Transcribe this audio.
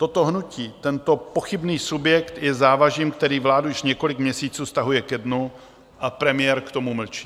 Toto hnutí, tento pochybný subjekt je závažím, které vládu už několik měsíců stahuje ke dnu, a premiér k tomu mlčí.